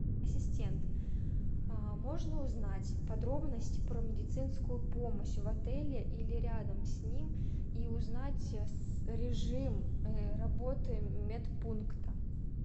ассистент можно узнать подробность про медицинскую помощь в отеле или рядом с ним и узнать режим работы медпункта